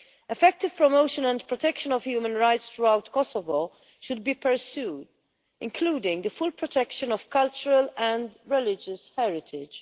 Effective promotion and protection of human rights throughout Kosovo should be pursued, including the full protection of cultural and religious heritage.